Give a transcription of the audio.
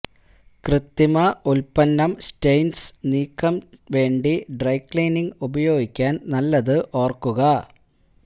കൃത്രിമ ഉൽപ്പന്നം സ്റ്റെയിൻസ് നീക്കം വേണ്ടി ഡ്രൈ ക്ലീനിംഗ് ഉപയോഗിക്കാൻ നല്ലത് ഓർക്കുക